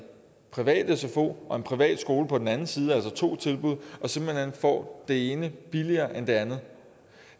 privat sfo og en privat skole på den anden side altså to tilbud får det ene billigere end det andet